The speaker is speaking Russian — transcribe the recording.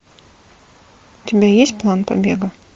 у тебя есть план побега